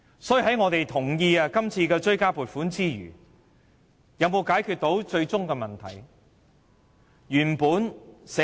所以，我們同意今次的追加撥款之餘，有否解決最終的問題？